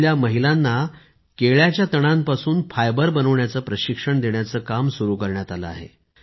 तिथल्या महिलांना केळ्याच्या तणांपासून फायबर बनवण्याचे प्रशिक्षण देण्याचं काम सुरू करण्यात आले आहे